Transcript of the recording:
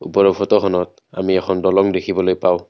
ওপৰৰ ফটোখনত আমি এখন দলং দেখিবলৈ পাওঁ।